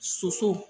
Soso